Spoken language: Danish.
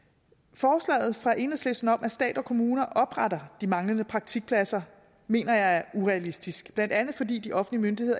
forslaget fra enhedslisten om at stat og kommuner opretter de manglende praktikpladser mener jeg er urealistisk blandt andet fordi de offentlige